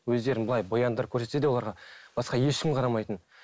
өздерін былай бояндырып көрсетсе де оларға басқа ешкім қарамайтын